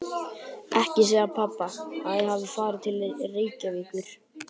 Ekki segja pabba að ég hafi farið til Reykjavíkur.